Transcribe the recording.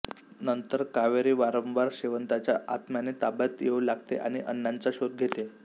नंतर कावेरी वारंवार शेवंताच्या आत्म्याने ताब्यात येऊ लागते आणि अण्णांचा शोध घेते